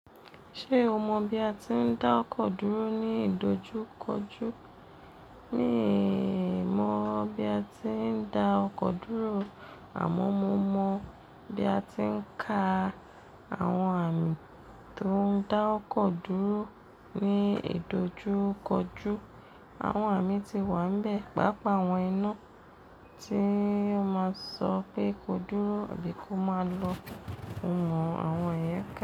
Ṣé o mọ bí a ti ń dá ọkọ̀ dúró ní ìdojúkọjú? Mìí, mọ̀ bí a ti ń dá ọkọ̀ dúró àmọ́ mo mọ bí a ti ń ka àwọn àmì tó ń dá ọkọ̀ dúró ní ìdojúkọjú. Àwọn àmì ti wà n bẹ̀, pàápàá àwọn iná tí ó máa sọ pé kó dúró tàbí kó máa lọ. Mo mọ àwọn iyen.